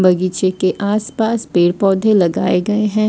बगीचे के आस पास पेड़ पौधे लगाए गए हैं।